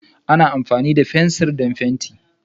Ana amfani da fensir don fenti.